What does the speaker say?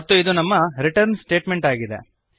ಮತ್ತು ಇದು ನಮ್ಮ ರಿಟರ್ನ್ ಸ್ಟೇಟಮೆಂಟ್ ಆಗಿದೆ